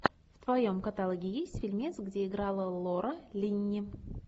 в твоем каталоге есть фильмец где играла лора линни